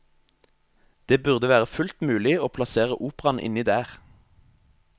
Det burde være fullt mulig å plassere operaen inni der.